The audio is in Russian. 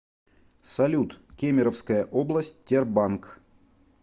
салют кемеровская область тербанк